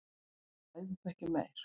Ræðum það ekki meir.